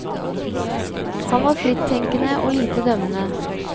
Han var frittenkende og lite dømmende.